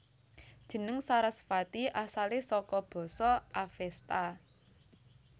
Jeneng Sarasvati asale saka basa Avesta